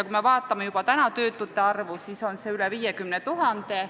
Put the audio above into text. Kui me vaatame töötute arvu, siis on see juba üle 50 000.